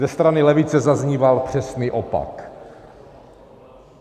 Ze strany levice zazníval přesný opak.